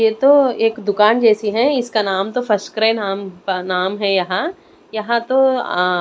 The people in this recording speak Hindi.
यह तो एक दुकान जैसी है इसका नाम तो फर्स्ट क्राई नाम नाम है यहाँ यहाँ तो अ--